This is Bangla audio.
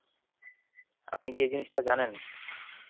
আপনি কি এই জিনিসটা জানেন?